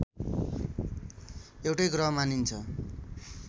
एउटै ग्रह मानिन्छ